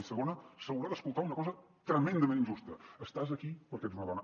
i segona s’haurà d’escoltar una cosa tremendament injusta estàs aquí perquè ets una dona